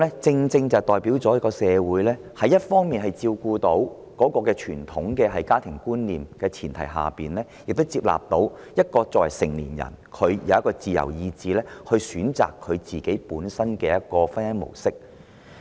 這正可代表社會在照顧傳統家庭觀念的前提下，也能接納任何人均有自由意志選擇本身的婚姻模式。